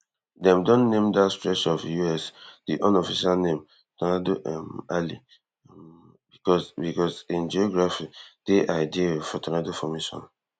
dem don name dat stretch of US di unofficial name tornado um alley um bcos bcos in geography dey ideal for tornado formation